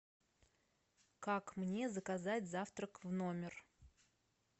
как мне заказать завтрак в номер